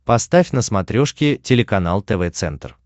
поставь на смотрешке телеканал тв центр